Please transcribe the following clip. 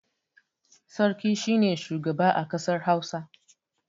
Sarki shi ne shugaba a kasar Hausa.